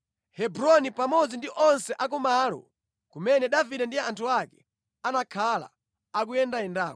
Hebroni pamodzi ndi onse a kumalo kumene Davide ndi anthu ake anakhala akuyendayendako.